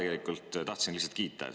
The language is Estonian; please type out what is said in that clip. Mina ka tahtsin lihtsalt kiita.